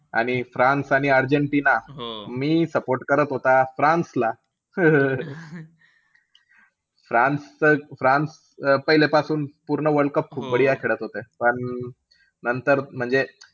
आणि फ्रान्स आणि अर्जेन्टिना मी support करत होता फ्रान्सला. फ्रान्सचं~ फ्रान्स पहिलेपासून पूर्ण वर्ल्ड कप खूप खेळत होते पण नंतर म्हणजे.